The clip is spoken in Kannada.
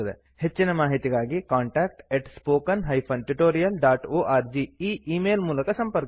ಹೆಚ್ಚಿನ ಮಾಹಿತಿಗಾಗಿ contactspoken tutorialorg ಈ ಈ ಮೇಲ್ ಮೂಲಕ ಸಂಪರ್ಕಿಸಿ